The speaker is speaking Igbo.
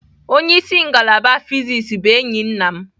Onye isi ngalaba fịsis bụ enyi nna m.